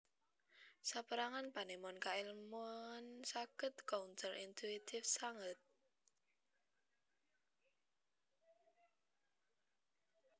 Sapérangan panemon kaèlmuan saged counter intuitive sanget